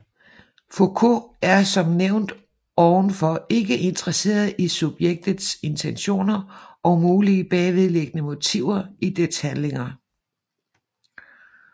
Foucault er som nævnt ovenfor ikke interesseret i subjektets intentioner og mulige bagvedliggende motiver i dets handlinger